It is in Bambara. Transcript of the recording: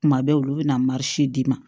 Kuma bɛ olu bɛna d'i ma